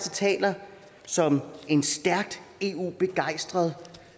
og taler som en stærkt eu begejstret